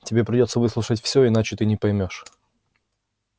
тебе придётся выслушать все иначе ты не поймёшь